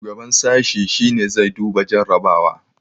shugaban sashi shi ne zai duba jarrabawa